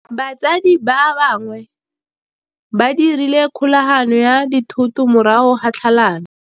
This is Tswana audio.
Batsadi ba gagwe ba dirile kgaoganyô ya dithoto morago ga tlhalanô.